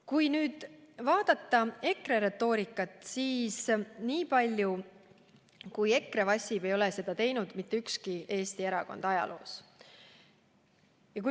Kui vaadata EKRE retoorikat, siis nii palju, kui EKRE vassib, ei ole seda teinud mitte ükski Eesti erakond ajaloos.